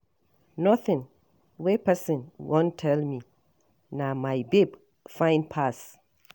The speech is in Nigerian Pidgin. Nothing wey person wan tell me, na my babe fine pass.